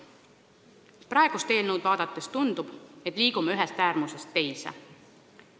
Praegust eelnõu vaadates tundub, et liigume ühest äärmusest teise.